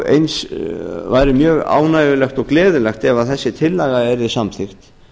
eins væri mjög ánægjulegt og gleðilegt ef þessi tillaga yrði samþykkt